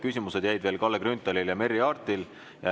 Küsida jäi veel Kalle Grünthalil ja Merry Aartil.